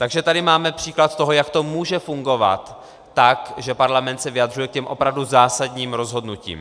Takže tady máme příklad toho, jak to může fungovat tak, že parlament se vyjadřuje k těm opravdu zásadním rozhodnutím.